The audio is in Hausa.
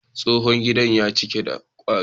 Tsohon gidan ya cika da kwari.